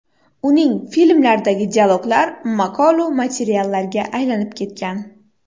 Uning filmlaridagi dialoglar maqolu matallariga aylanib ketgan.